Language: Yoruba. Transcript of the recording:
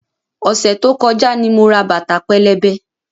Ọ̀sẹ̀ tó kọjá ni mo ra bàtà pẹlẹbẹ.